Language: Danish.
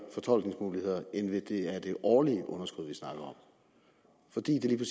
fortolkningsmuligheder end hvis det er det årlige underskud vi snakker om fordi det lige